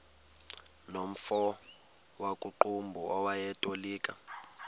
nomfo wakuqumbu owayetolika